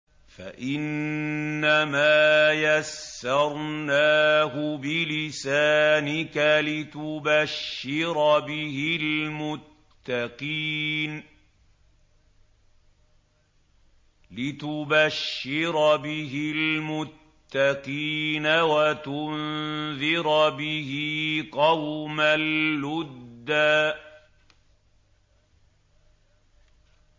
فَإِنَّمَا يَسَّرْنَاهُ بِلِسَانِكَ لِتُبَشِّرَ بِهِ الْمُتَّقِينَ وَتُنذِرَ بِهِ قَوْمًا لُّدًّا